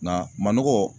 Nka manɔgɔ